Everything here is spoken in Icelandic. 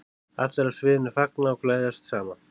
Allir á sviðinu fagna og gleðjast saman.